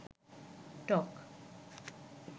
টক